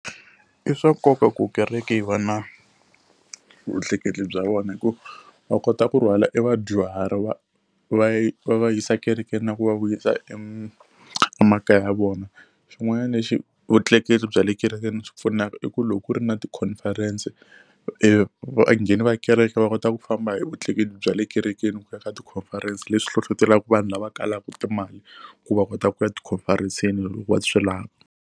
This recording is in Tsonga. I swa nkoka ku kereke yi va na vutleketli bya vona hikuva va kota ku rhwala evadyuhari va va va yisa kerekeni na ku va vuyisa emakaya ya vona. Xin'wanyana lexi vutleketli bya le kerekeni byi pfunaka i ku loko ku ri na ti-conference-e va ngheni va kereke va kota ku famba hi vutleketli bya le kerekeni ku ya ka ti-conference leswi hlohletelaka vanhu lava kalaka timali ku va kota ku ya ti-conference-seni loko va swi lava.